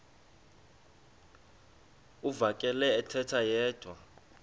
uvakele ethetha yedwa